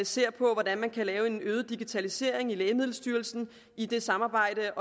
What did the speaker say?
ser på hvordan man kan lave en øget digitalisering i lægemiddelstyrelsen i det samarbejde